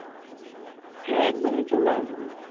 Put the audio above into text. হ্যাঁ একদমই চলে আসবো